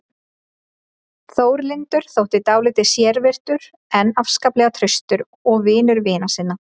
Þórlindur þótti dálítið sérvitur en afskaplega traustur og vinur vina sinna.